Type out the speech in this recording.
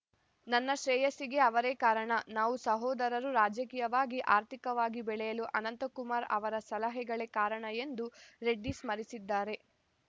ನನ್ನ ಶ್ರೇಯಸ್ಸಿಗೆ ಅವರೇ ಕಾರಣ ನಾವು ಸಹೋದರರು ರಾಜಕೀಯವಾಗಿ ಆರ್ಥಿಕವಾಗಿ ಬೆಳೆಯಲು ಅನಂತಕುಮಾರ್‌ ಅವರ ಸಲಹೆಗಳೇ ಕಾರಣ ಎಂದೂ ರೆಡ್ಡಿ ಸ್ಮರಿಸಿದ್ದಾರೆ